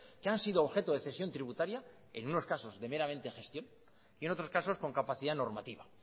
que han sido objeto de cesión tributaria en unos casos de meramente gestión y en otros casos con capacidad normativa